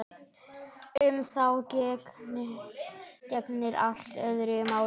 Um þá gegnir allt öðru máli.